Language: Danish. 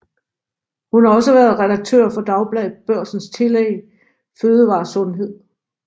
Hun har også været redaktør for Dagbladet Børsens tillæg FødevareSundhed